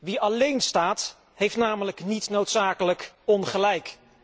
Wie alleen staat heeft namelijk niet noodzakelijk ongelijk.